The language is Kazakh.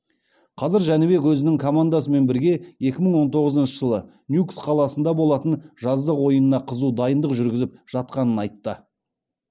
қазір жәнібек өзінің командасымен бірге екі мың он тоғызыншы жылы ньюкс қаласында болатын жаздық ойынына қызу дайындық жүргізіп жатқанын айтты